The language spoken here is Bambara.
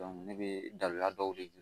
ne bɛ dabila dɔw de ye